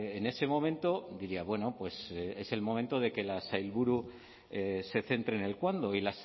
en ese momento diría bueno pues es el momento de que la sailburu se centre en el cuándo y